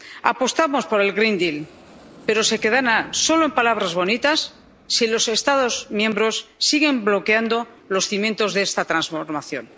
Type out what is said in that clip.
apostamos por el Pacto Verde, pero se quedará solo en palabras bonitas si los Estados miembros siguen bloqueando los cimientos de esta transformación.